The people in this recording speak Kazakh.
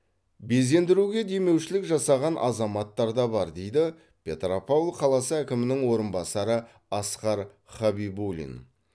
безендіруге демеушілік жасаған азаматтар да бар дейді петропавл қаласы әкімінің орынбасары асқар хабибулин